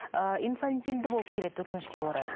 ііі инфантильді болып келеді өкінішке орай